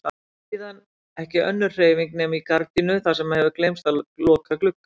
Síðan ekki önnur hreyfing nema í gardínu þar sem hefur gleymst að loka glugga.